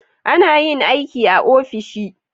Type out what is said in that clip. Anayin aiki a ofishi